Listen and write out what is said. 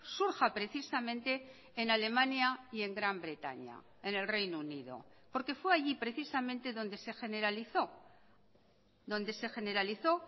surja precisamente en alemania y en gran bretaña en el reino unido porque fue allí precisamente donde se generalizó donde se generalizó